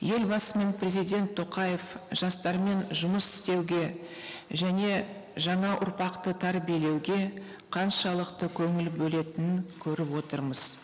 елбасы мен президент тоқаев жастармен жұмыс істеуге және жаңа ұрпақты тәрбиелеуге қаншалықты көңіл бөлетінін көріп отырмыз